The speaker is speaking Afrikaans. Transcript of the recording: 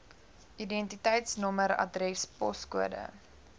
identiteitsnommer adres poskode